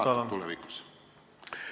Kuidas sa sellele vaatad?